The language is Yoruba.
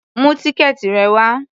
Mú tíkẹ́ẹ̀tì rẹ wá!